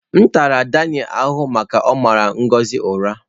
M tara Daniel ahụhụ maka ọ mara Ngozi ụra